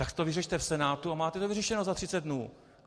Tak to vyřešte v Senátu a máte to vyřešeno za 30 dnů.